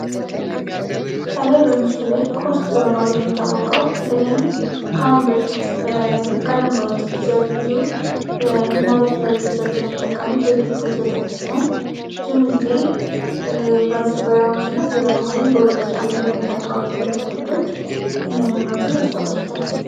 ከላይ በምስሉ ላይ ኮስት በመባል የሚታወቀው በተለይም ከአሁን በፊት ቀደም ባሉ ጊዜያት ብዙ እናቶች ለልጆቻቸው የሚጠቀሙት ወተት ሲሆን ብዙውን ጊዜ በዘጠናኛዎቹ እና በኋላም በሁለት ሺህ አመተምህረት የተወለዱ ልጆች ይህንን ወተት ያስታውሱታል።